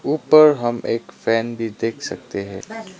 ऊपर हम एक फैन भी देख सकते हैं।